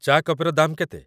ଚା' କପେର ଦାମ୍ କେତେ?